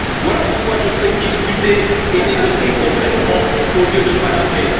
Voilà pourquoi je souhaite discuter et négocier concrètement au lieu de palabrer.